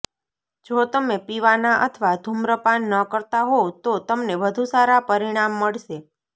જો તમે પીવાના અથવા ધૂમ્રપાન ન કરતા હોવ તો તમને વધુ સારા પરિણામ મળશે